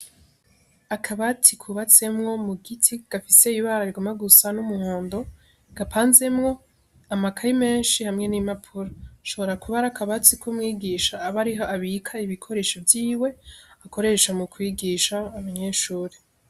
Akabatsi kubatsemwo mu giti gafise ibararkoma gusa n'umuhondo gapa nzemwo amakaya imenshi hamwe n'imapuro ashobora kubari akabatsi k'umwigisha aba ariho abika ibikoresho vyiwe akoresha mu kwigisha abanyeshuri.